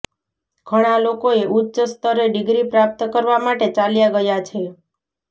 ઘણા લોકોએ ઉચ્ચ સ્તરે ડિગ્રી પ્રાપ્ત કરવા માટે ચાલ્યા ગયા છે